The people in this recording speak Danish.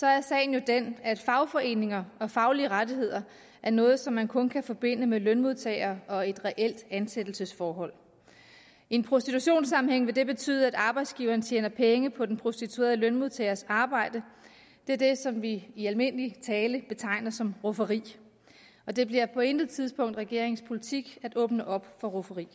er sagen jo den at fagforeninger og faglige rettigheder er noget som man kun kan forbinde med lønmodtagere og et reelt ansættelsesforhold i en prostitutionssammenhæng vil det betyde at arbejdsgiveren tjener penge på den prostituerede lønmodtagers arbejde det er det som vi i almindelig tale betegner som rufferi og det bliver på intet tidspunkt regeringens politik at åbne op for rufferi